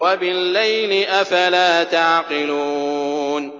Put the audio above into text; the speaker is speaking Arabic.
وَبِاللَّيْلِ ۗ أَفَلَا تَعْقِلُونَ